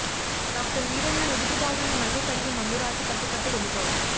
doctor Veeranna నుదుటి భాగాన్ని మళ్ళీ కడిగి మందు రాసి కట్టుకట్టి వెళ్ళిపోయాడు